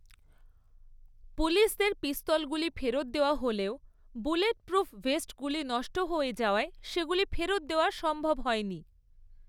পুলিসদের পিস্তলগুলি ফেরত দেওয়া হলেও বুলেটপ্রুফ ভেস্টগুলি নষ্ট হয়ে যাওয়ায় সেগুলি ফেরত দেওয়া সম্ভব হয়নি।